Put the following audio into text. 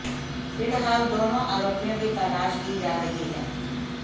फिलहाल दोनों आरोपियों की तलाश की जा रही है